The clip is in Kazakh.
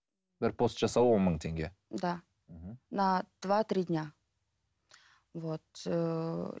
бір пост жасау он мың теңге да мхм на два три дня вот ыыы